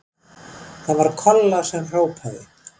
Það var Kolla sem hrópaði.